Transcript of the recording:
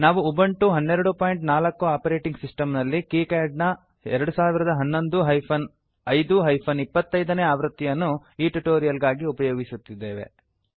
ನಾವು Ubuntu 1204 operating system ನಲ್ಲಿ KiCad ನ 2011 ಹೈಫನ್ 05 ಹೈಫನ್ 25 ನೇ ಆವೃತ್ತಿಯನ್ನು ಈ ಟ್ಯುಟೋರಿಯಲ್ ಗಾಗಿ ಉಪಯೋಗಿಸುತ್ತಿದ್ದೇವೆ